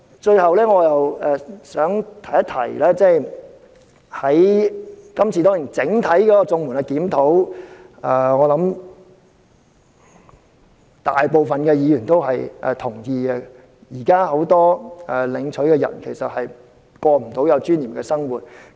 最後，我想提出，今次是對整體綜援的檢討，我相信大部分議員也認同現時很多領取綜援者均無法過有尊嚴的生活。